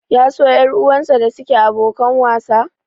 Ya so ƴar uwarsa da suke abokan wasa?